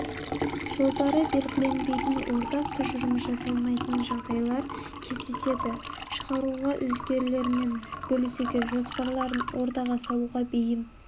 жолдары белгіленбейтін ортақ тұжырым жасалмайтын жағдайлар кездеседі шығаруға өзгелермен бөлісуге жоспарларын ортаға салуға бейім